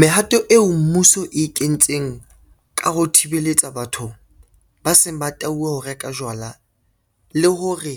Mehato eo mmuso e kentseng ka ho thibeletsa batho ba seng ba tauwe ho reka jwala le hore